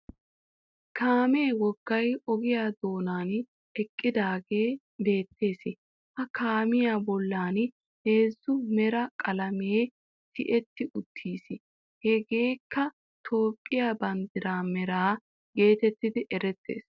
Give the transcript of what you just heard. Kaamee woggay ogiya doonan eqqidaagee beettees. Ha kaamiya bollan heezzu mera qalamee tiyetti uttiis. Hegeekka Toophphiya banddiraa meraa geetettidi erettees.